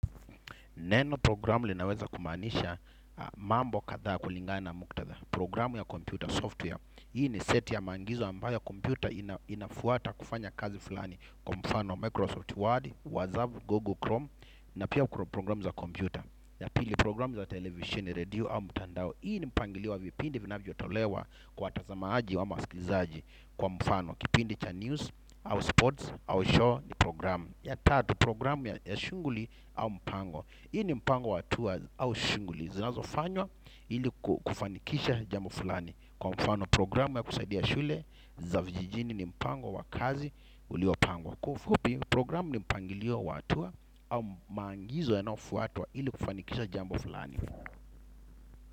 Neno programu linaweza kumaanisha mambo kadhaa kulingana na muktadha. Programu ya computer software. Hii ni seti ya maangizo ambayo kompyuta inafuata kufanya kazi fulani. Kwa mfano Microsoft Word, WhatsApp, Google Chrome, na pia kukuro programu za kompyuta. Ya pili programu za television, redio au mtandao. Hii ni mpangilio vipindi vinavyotolewa kwa watasamaaji ama wasikizaji kwa mfano. Kipindi cha news, au sports, au show ni programu. Ya tatu programu ya shunguli au mpango. Hii ni mpango watuwa au shunguli zinazofanywa ili kufanikisha jambo fulani. Kwa mfano programu ya kusaidia shule za vijijini ni mpango wa kazi uliopangwa. Kwa ufupi programu ni mpangilio wa hatua au maangizo yanaofuatwa ili kufanikisha jambo fulani.